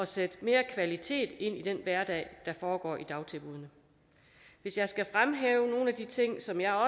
sætte mere kvalitet ind i den hverdag der foregår i dagtilbuddene hvis jeg skal fremhæve nogle af de ting som jeg